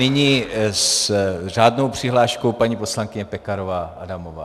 Nyní s řádnou přihláškou paní poslankyně Pekarová Adamová.